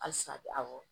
Halisa awɔ